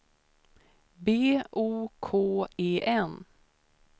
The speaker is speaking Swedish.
B O K E N